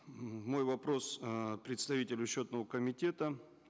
мой вопрос э представителю счетного комитета